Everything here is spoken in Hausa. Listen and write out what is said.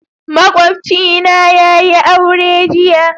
Makwabcina yayi aure jiya.